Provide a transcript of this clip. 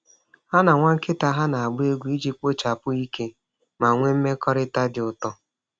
Ha na nwa nkịta ha na-agba egwu iji kpochapụ ike ma nwee mmekọrịta dị ụtọ.